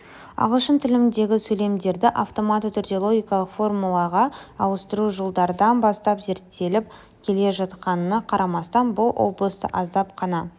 ағылшын тіліндегі сөйлемдерді автоматты түрде логикалық формулаға ауыстыру жылдардан бастап зерттеліп келе жатқанына қарамастан бұл облыста аздап қана